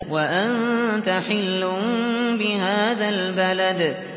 وَأَنتَ حِلٌّ بِهَٰذَا الْبَلَدِ